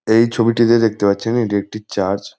এই ছবিটিতে দেখেত পাচ্ছেন এটি একটি চার্চ ।